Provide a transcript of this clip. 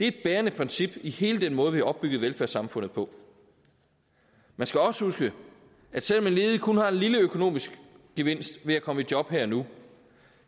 et bærende princip i hele den måde vi har opbygget velfærdssamfundet på man skal også huske at selv om en ledig kun har en lille økonomisk gevinst ved at komme i job her og nu